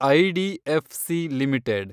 IDFC limited